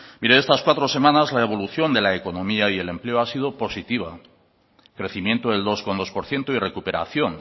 mire estas cuatro semanas la evolución de la economía y el empleo ha sido positiva crecimiento del dos coma dos por ciento y recuperación